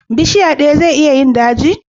Bishiya daya zai iya yin daji?